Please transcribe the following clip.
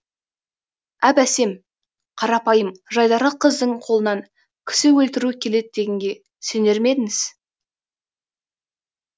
әп әсем қарапайым жайдары қыздың қолынан кісі өлтіру келеді дегенге сенер ме едіңіз